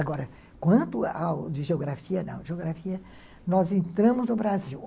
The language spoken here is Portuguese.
Agora, quanto ao de geografia não, geografia nós entramos no Brasil.